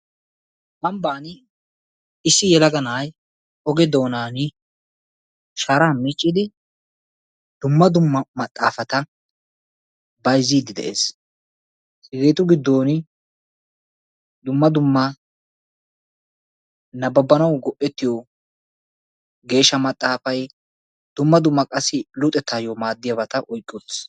Ambban issi yelaga na'ay oge doonan sharaa miccidi dumma dumma maxxaafata bayizziiddi de'ees. Hegeetu giddon dumma dumma nabbabbanawu go'ettiyo geeshsha maxxaafay dumma dumma luxettaayyo maaddiyabata oyiqqi uttis.